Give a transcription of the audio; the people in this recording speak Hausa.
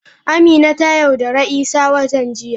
Amina ta yaudari isah watan jiya.